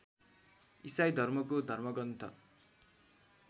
इसाई धर्मको धर्मग्रन्थ